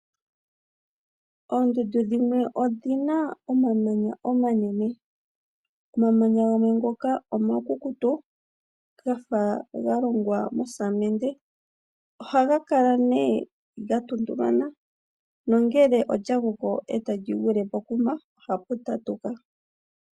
Oondundu dhimwe odhina omamanya omanene, omamanya gamwe ngoka omakukutu gafa galongwa mosamende, ohaga kala ne gatuntumana nangele olya gwile pokuma ohapu tatuka.